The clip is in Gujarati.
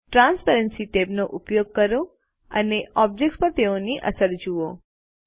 ટ્રાન્સપેરન્સી ટેબનો ઉપયોગ કરો અને ઓબ્જેક્ત્સ પર તેની અસરો જુઓ